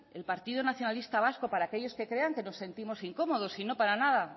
el partido nacionalista vasco para aquellos que crean que nos sentimos incómodos y no para nada